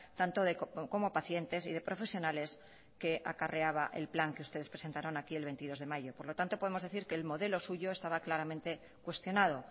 tanto como pacientes y de profesionales que acarreaba el plan que ustedes presentaron aquí el veintidós de mayo por lo tanto podemos decir que el modelo suyo estaba claramente cuestionado